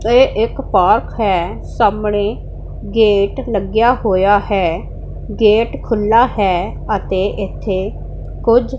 ਇਹ ਇੱਕ ਪਾਰਕ ਹੈ ਸਾਹਮਣੇ ਗੇਟ ਲੱਗਿਆ ਹੋਇਆ ਹੈ ਗੇਟ ਖੁੱਲਾ ਹੈ ਅਤੇ ਇਥੇ ਕੁਝ --